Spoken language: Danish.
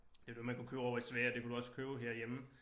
Det var det man kunne købe ovre i Sverige det kunne du også købe herhjemme